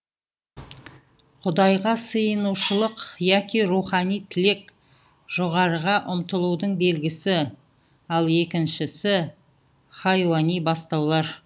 құдайға сиынушылық яқи рухани тілек жоғарыға ұмтылудың белгісі ал екіншісі хайуани бастаулар